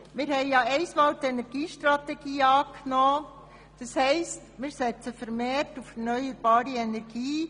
Wir haben ja die Energiestrategie angenommen, und damit setzen wir vermehrt auf erneuerbare Energie.